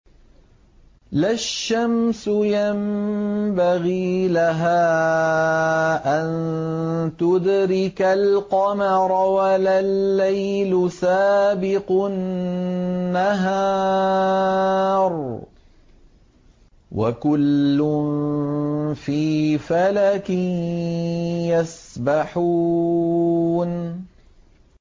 لَا الشَّمْسُ يَنبَغِي لَهَا أَن تُدْرِكَ الْقَمَرَ وَلَا اللَّيْلُ سَابِقُ النَّهَارِ ۚ وَكُلٌّ فِي فَلَكٍ يَسْبَحُونَ